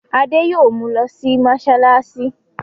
Adé yóò mu lọ sí mọ́ṣáláṣí.